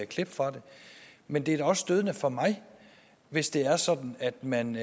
klip fra den men det er da også stødende for mig hvis det er sådan at man